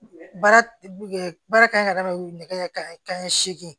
Baara baara kan ka kɛ nɛgɛ kanɲɛ ka ɲɛ sege